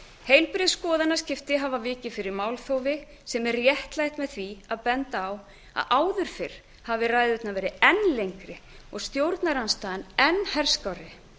heilbrigð skoðanaskipti hafa vikið fyrir málþófi sem er réttlætt með því að benda á að áður fyrr hafi ræðurnar verið enn lengri og stjórnarandstaðan enn herskárri